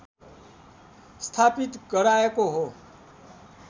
स्थापित गराएको हो